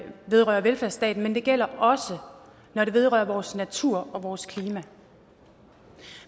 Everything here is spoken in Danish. vedrører velfærdsstaten men det gælder også når det vedrører vores natur og vores klima